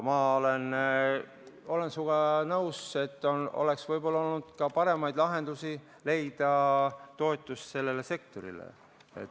Ma olen sinuga nõus, et oleks võib-olla olnud ka paremaid lahendusi, kuidas leida toetust sellele sektorile.